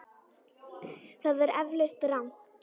Það er eflaust rangt.